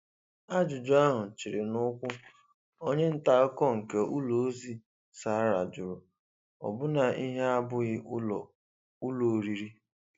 Ajụjụ ahụ chịrị n'ụ̀kwụ̀, onye nta akụkọ nke ụlọ ozi Sahara jụrụ, ọ bụ na ihe a abụghị ụlọ ụlọ oriri?